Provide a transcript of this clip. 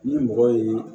Ni mɔgɔ ye